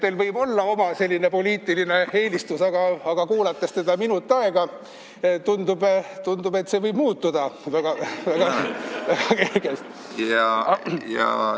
Teil võib olla oma poliitiline eelistus, aga kuulates teda minutki aega, see võib muutuda väga kergelt.